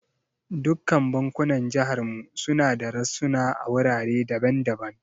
Dukkan bankunan jihar mu suna da rassuna a wurare daban daban.